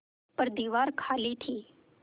पर दीवार खाली थी